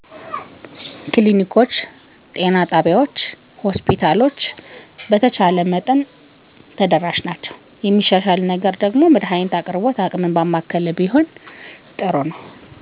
በተቻለ መጠን ተደራሽ ናቸዉ የሚሻሻል ነገር መድሀኒት አቅርቦት አቅምን ባማከለ ቢሆን